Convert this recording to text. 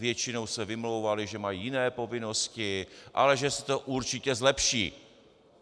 Většinou se vymlouvali, že mají jiné povinnosti, ale že se to určitě zlepší.